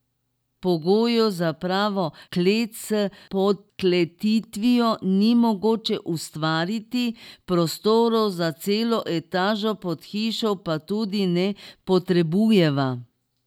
Pogojev za pravo klet s podkletitvijo ni mogoče ustvariti, prostorov za celo etažo pod hišo pa tudi ne potrebujeva.